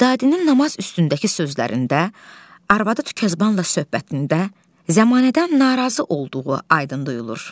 Vidadinin namaz üstündəki sözlərində, arvadı Tükəzbanla söhbətində zəmanədən narazı olduğu aydın duyulur.